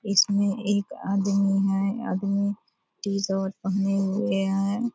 इसमें एक आदमी है। आदमी टी-शर्ट पहने हुए है।